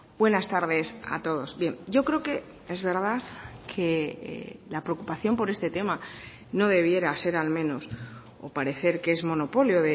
buenas tardes a todos bien yo creo que es verdad que la preocupación por este tema no debiera ser al menos o parecer que es monopolio